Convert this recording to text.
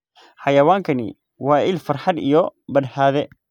Xayawaankani waa il farxad iyo badhaadhe.